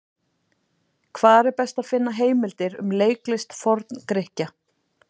Hvar er best að finna heimildir um leiklist Forn-Grikkja?